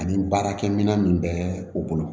Ani baarakɛminɛn min bɛ u bolo